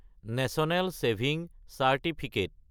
national saving certificate